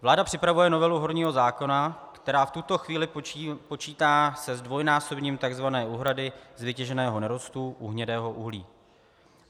Vláda připravuje novelu horního zákona, která v tuto chvíli počítá se zdvojnásobením tzv. úhrady z vytěženého nerostu u hnědého uhlí.